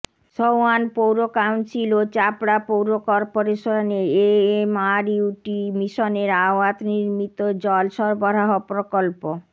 সওয়ান পৌর কাউন্সিল ও চাপড়া পৌর কর্পোরেশনে এএমআরইউটি মিশনের আওয়াত নির্মিত জল সরবরাহ প্রকল্প